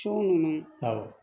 So ninnu awɔ